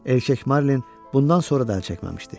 Erkək marlin bundan sonra da əl çəkməmişdi.